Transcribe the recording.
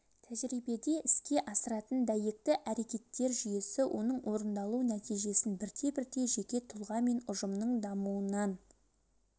тәжірибеде іске асыратын дәйекті әрекеттер жүйесі оның орындалу нәтижесін бірте-бірте жеке тұлға мен ұжымның дамуынан